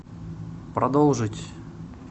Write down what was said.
продолжить